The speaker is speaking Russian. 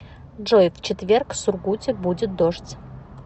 джой в четверг в сургуте будет дождь